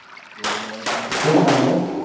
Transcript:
कोण दानव